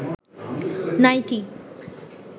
nightie